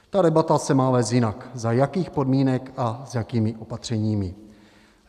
Ta debata se má vést jinak: za jakých podmínek a s jakými opatřeními.